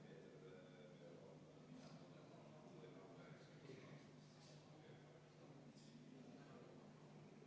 Palun EKRE fraktsiooni nimel panna see muudatusettepanek hääletusele ja enne seda teha vaheaeg kümme minutit.